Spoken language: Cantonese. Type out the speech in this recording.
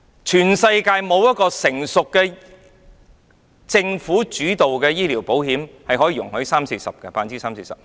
全世界沒有一個成熟的、由政府主導的醫療保險計劃容許三四成錢作這種用途。